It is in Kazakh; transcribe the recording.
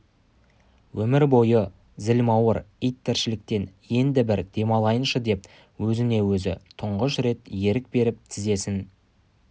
өмір бойы зілмауыр ит тіршіліктен енді бір демалайыншы деп өзіне өзі тұңғыш рет ерік беріп тізесін